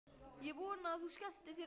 Ég vona að þú skemmtir þér vel!